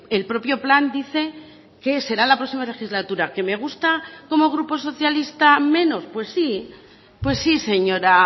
el propio plan dice que será la próxima legislatura qué me gusta como grupo socialista menos pues sí pues sí señora